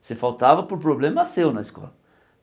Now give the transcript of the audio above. Você faltava por problema seu na escola.